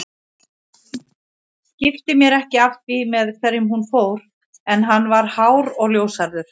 Skipti mér ekki af því með hverjum hún fór en hann var hár og ljóshærður